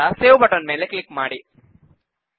ನಂತರ save button click ಮಾಡಿ